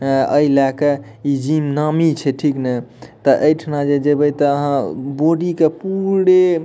ए अइलक इ जिम नामी छे ठीक ना त अइ ठना जे जेबइ त अहाँ बोडी के पूरे --